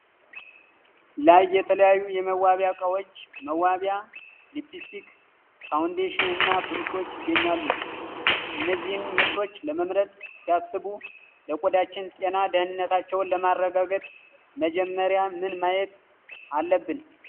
ላይ የተለያዩ የመዋቢያ ዕቃዎች (መዋቢያ፣ ሊፕስቲክ፣ ፋውንዴሽን እና ብሩሾች) ይገኛሉ። እነዚህን ምርቶች ለመምረጥ ሲያስቡ፣ ለቆዳችን ጤና ደህንነታቸውን ለማረጋገጥ መጀመሪያ ምን ማየት አለብን?